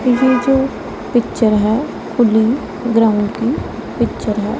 ये जो पिक्चर हैं खुली ग्रैंड की पिक्चर हैं।